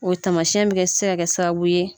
O taamasiyɛn bɛ se ka kɛ sababu ye.